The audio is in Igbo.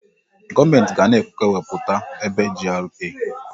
Gọọmenti ga na-ekewapụta ebe GRA.